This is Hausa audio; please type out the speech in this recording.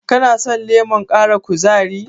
Kano son lemon ƙara kuzari?